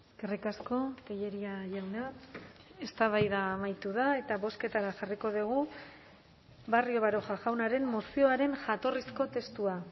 eskerrik asko tellería jauna eztabaida amaitu da eta bozketara jarriko dugu barrio baroja jaunaren mozioaren jatorrizko testua